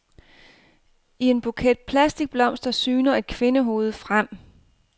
I en buket plastikblomster syner et kvindehoved frem.